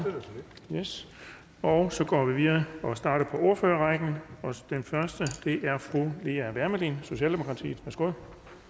og så går vi videre og starter på ordførerrækken den første er fru lea wermelin socialdemokratiet værsgo